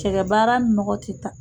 Cɛgɛ baara ni nɔgɔ tɛ taa